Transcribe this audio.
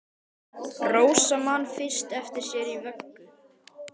Rósa man fyrst eftir sér í vöggu!